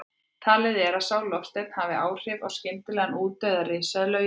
Talið er að sá loftsteinn hafi haft áhrif á skyndilegan útdauða risaeðla á jörðinni.